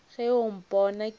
ge o mpona ke le